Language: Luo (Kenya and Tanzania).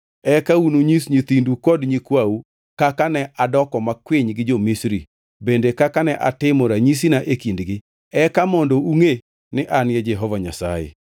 eka ununyis nyithindu kod nyikwau kaka ne adoko makwiny gi jo-Misri bende kaka ne atimo ranyisina e kindgi, eka mondo ungʼe ni an Jehova Nyasaye.”